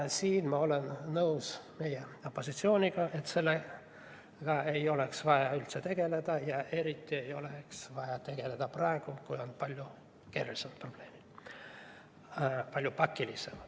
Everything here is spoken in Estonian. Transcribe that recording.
Siin ma olen nõus meie opositsiooniga, et sellega ei oleks vaja üldse tegeleda – eriti ei oleks sellega vaja tegeleda praegu, kui meil on palju keerulisemaid, palju pakilisemaid probleeme.